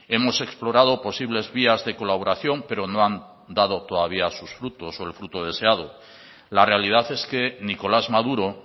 hemos explorado posibles vías de colaboración pero no han dado todavía sus frutos o el fruto deseado la realidad es que nicolás maduro